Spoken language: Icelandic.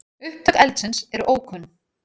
Upptök eldsins eru ókunn.